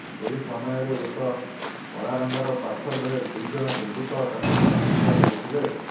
ଏହି ସମୟରେ ଏକ କଳାରଙ୍ଗର ପଲସର୍ରେ ଦୁଇଜଣ ଦୁର୍ବୃତ୍ତ ତାଙ୍କୁ ପିଛା କରିଥିଲେ